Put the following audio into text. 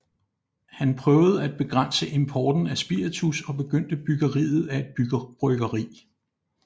Han prøvede at begrænse importen af spiritus og begyndte byggeriet af et bryggeri